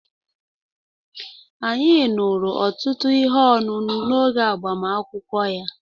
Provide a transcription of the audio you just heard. Anyị ṅụrụ ọtụtụ ihe ọṅụṅụ n'oge agbamakwụkwọ ya.